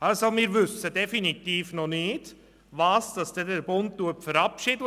Wir wissen definitiv noch nicht, was für ein Gesetz der Bund verabschieden wird.